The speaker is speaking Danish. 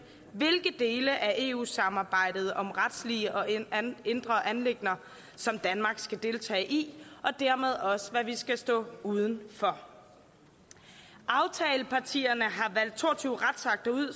hvilke dele af eu samarbejdet om retslige og indre anliggender som danmark skal deltage i og dermed også hvad vi skal stå uden for aftalepartierne har valgt to og tyve retsakter ud